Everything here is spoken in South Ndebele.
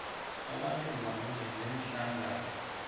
abantu ngamunye neenhlangano